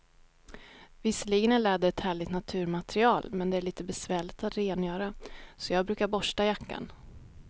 Visserligen är läder ett härligt naturmaterial, men det är lite besvärligt att rengöra, så jag brukar borsta jackan.